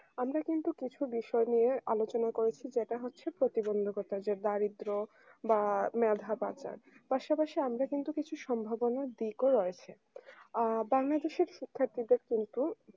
আমরা কিন্তু কিছু বিষয় নিয়ে আলোচনা করেছি যেটা হচ্ছে প্রতিবন্ধকতা যে দারিদ্র বা মেধা পাচার পাশাপাশি আমরা কিন্তু কিছু সম্ভাবনার দিকও রয়েছে আ বাংলাদেশের শিক্ষার্থীদের কিন্তু